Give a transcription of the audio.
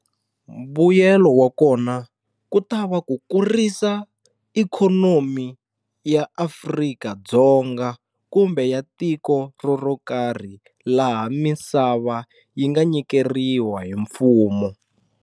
Mbuyelo wa kona ku ta va ku kurisa ikhonomi ya Afrika-Dzonga kumbe ya tiko ro ro karhi laha misava yi nga nyikeriwa hi mfumo.